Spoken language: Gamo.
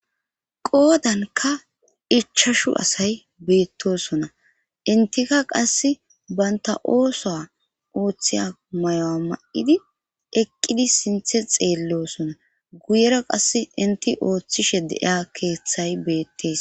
qoodanka ichashu asay beettosona intika qass baynta ooso ouththiya may7o7a ma7idi eqqidi sinthe xeellosona guyera qass inti ooththishe deiya keeththay beettees